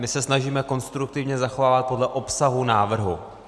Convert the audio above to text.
My se snažíme konstruktivně zachovávat podle obsahu návrhu.